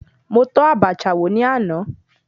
Mo tọ́ Abacha wò ní àná.